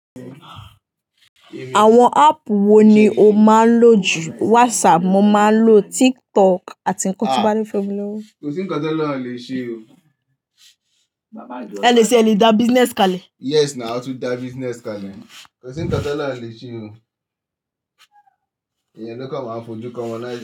Àwọn app wo ni o máa ń lò jù? WhatsApp mo máa ń lò, TikTok àti nǹkan tí bá ní fún mi lówó. Kò sí ńǹkan t'Ọlọhun o lè ṣe o. Ẹní ṣe ẹ le dà business kalẹ. Yes na, a tún dà business kalẹ. Kò sí ńǹkan t'Ọlọhun o lè ṣe o. Ìyẹn ló kà máa ń fojú kan wọn láìsí.